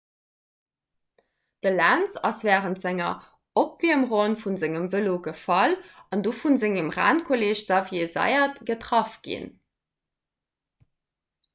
de lenz ass wärend senger opwiermronn vu sengem vëlo gefall an du vu sengem rennkolleeg xavier zayat getraff ginn